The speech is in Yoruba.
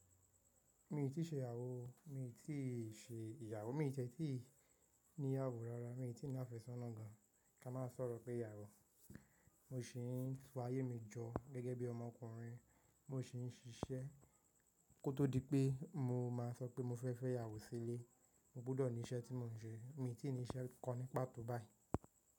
Mi i tí ì ṣe ìyàwó o, mi i tí ì ṣe ìyàwó, mi e ti ẹ́ tí ì ní ìyàwó rárá, mi i tí ì ní àfẹ́sọ́nà gan. Ki á máa sọ̀rọ̀ igbeyàwó. Mo sì ń to ayé mi jọ gẹ́gẹ́ bí ọmọkùnrin, mo sì ń ṣiṣẹ́ kó tó di pé mo máa sọ pé mo fẹ́ fẹ́ ìyàwó sílé. Mo gbúdọ̀ ní iṣẹ́ tí mò ń ṣe. Mi i tí ì ní iṣẹ́ kan ní pàtó báyìí.